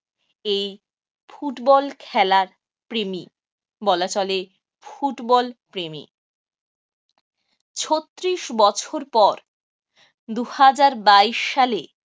এই ফুটবল খেলার প্রেমী বলা চলে ফুটবলপ্রেমী। ছত্রিশ বছর পর দু হাজার বাইশ সালে